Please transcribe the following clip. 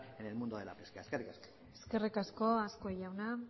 en el mundo de la pesca eskerrik asko eskerrik asko azkue jauna